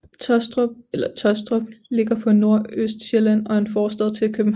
Taastrup eller Tåstrup ligger på Nordøstsjælland og er en forstad til København